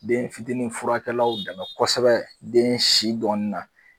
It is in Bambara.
Den fitinin furakɛlaw dɛmɛ kosɛbɛ den si dɔnni na